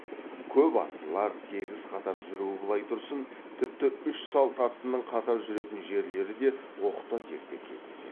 көп аттылар тегіс қатар жүруі былай тұрсын тіпті үш салт аттының қатар жүретін жерлері де оқта текте кездеседі